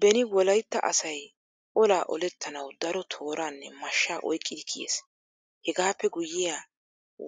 Beni wolaytta asay olaa olettanawu daro tooraanne mashshaa oyqqidi kiyees. Hegaappee guyyiya